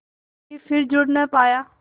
के फिर जुड़ ना पाया